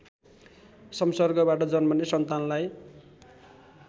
सम्सर्गबाट जन्मने सन्तानलाई